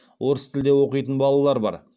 орыс тілде оқитын балалар бар